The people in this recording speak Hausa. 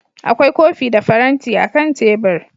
Akwai kofi da faranti akan tebur